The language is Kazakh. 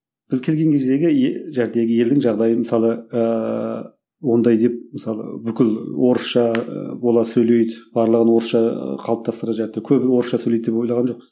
біз келген кездегі ел елдің жағдайы мысалы ыыы ондай деп мысалы бүкіл орысша ы бола сөйлейді барлығын орысша қалыптастырады көбі орысша сөйлейді деп ойлаған жоқпыз